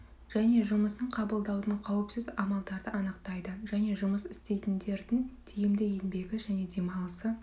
және жұмысын қабылдаудың қауіпсіз амалдарды анықтайды және жұмыс істейтіндердің тиімді еңбегі және демалысы